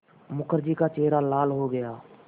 मुखर्जी का चेहरा लाल हो गया